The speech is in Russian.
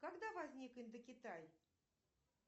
когда возник индокитай